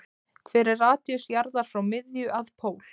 Hver er radíus jarðar frá miðju að pól?